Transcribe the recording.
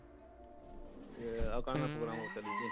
ଏଁ ଆଉ କାଣା program ଚାଲିଛେ?